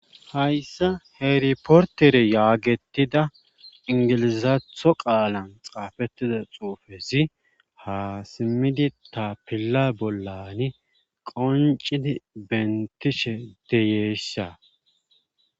hayssa heeriportere yaagettida ingilizaatho qaalan xaafettida xuufezi haasimmidi ta pila bollani qoncidi bentishe deyeesha